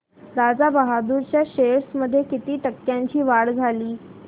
राजा बहादूर च्या शेअर्स मध्ये किती टक्क्यांची वाढ झाली